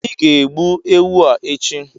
ị ga egbu ewu a echi!